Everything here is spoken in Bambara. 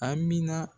A mina